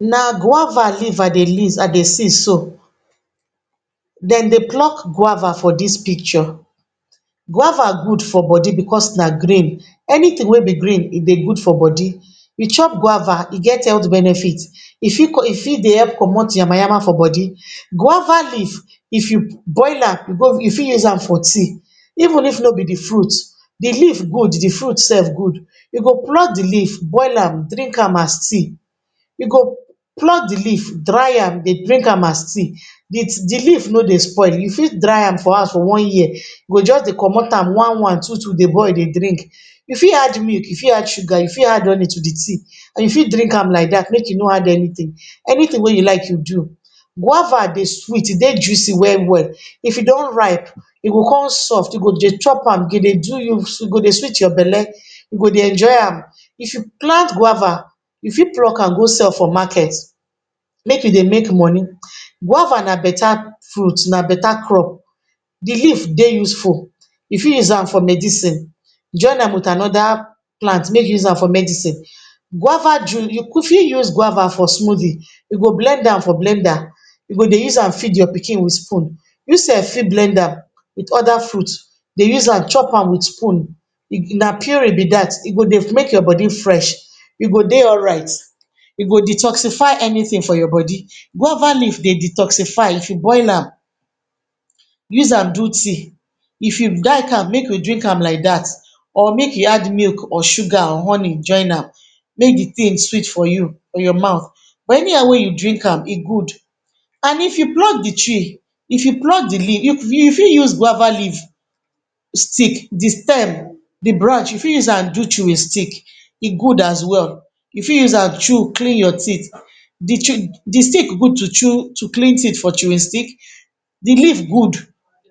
Na guava leaf I dey I dey see so. Dem dey pluck guava for dis picture. Guava good for body because na green. Anything wey be green e dey good for body. We chop guava, e get health benefit. E fit e fit dey help komot yama yama for body. Guava leaf, if you boil am you fit use am for tea, even if no be de fruit. De leaf good, de fruit sef good. You go pluck de leaf, boil am, drink am as tea. You go pluck de leaf dry am, dey drink am as tea. De de leaf no dey spoil, you fit dry am for house for one year. You go just dey komt am one one, two two dey boil dey drink. You fit add milk, you fit add sugar, you fit add honey, to de tea. You fit drink am like dat make you no add anything. Anything wey you like you do. Guava dey sweet, e dey juicy well well. If e don ripe, e go come soft, you go dey chop am, e go dey do you, e go dey sweet your bele, you go dey enjoy am. If you plant guava, you fit pluck am go sell for market, make you dey make money. Guava na beta fruit, na beta crop. De leaf dey useful. You fit use am for medicine, join am with another plant make you use am for medicine. Guava you fit use guava for smoothie. You go blend am for blender, you go dey use am feed your pikin with spoon. You sef fit blend am with other fruit, dey use am chop am with spoon. Na puree be dat. E go dey make your body fresh. You go dey alright. E go detoxify anything for your body. Guava leaf dey detoxify if you boil am, use am do tea. If you like am make you drink am like dat or make you add milk or sugar or honey join am, make de thing sweet for you, for your mouth. But anyhow wey you drink am e good. And if you pluck de tree, if you pluck de leaf, you you fit use guava leaf stick, de stem, de branch, you fit use am do chewing stick. E good as well. You fit use am chew clean your teeth. De chew de stick good to chew to clean teeth for chewing stick, de leaf good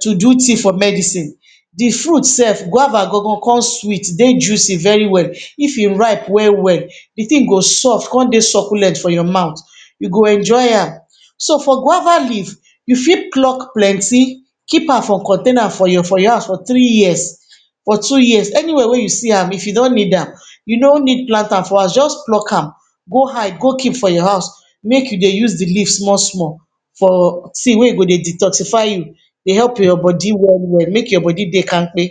to do tea for medicine. De fruit sef guava gan gan come sweet dey juicy very well. If e ripe well well, de thing go soft come dey succulent for your mouth. You go enjoy am. So for guava leaf, you fit pluck plenty keep am for container for your for your house for three years, for wo years. Any where wey you see am, if you don need am, you no need plant am for house, just pluck am go hide go keep for your house, make you dey use de leaf small small for tea wey go dey detoxify you, dey help your body well well, make your body dey kampe.